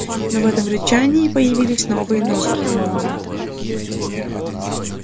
но в этом рычании появились новые нотки